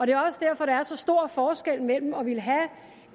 er også derfor der er så stor forskel mellem at ville have